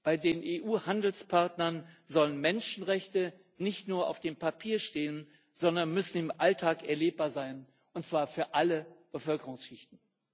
Bei den EU Handelspartnern sollen Menschenrechte nicht nur auf dem Papier stehen, sondern müssen im Alltag erlebbar sein und zwar für alle Bevölkerungsschichten.